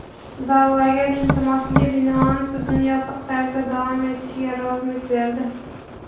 da’vogar iltimosiga bilan sudni yopiq tarzda davom etishiga rozilik berdi.